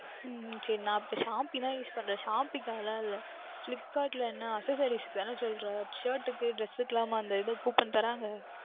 உம் உம் சரி நான் இப்பொழுது Shopee தான் Use பண்ணுகின்றேன் Shopee கா கலாம் இல்லை Flipkart ல என்ன Accessories க்கு தானே சொல்லுகின்றாய் ShirtsDress க்கு எல்லாமுமா அந்த இது Coupon தருவார்கள்